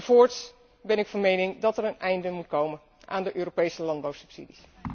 Voorts ben ik van mening dat er een einde moet komen aan de Europese landbouwsubsidies.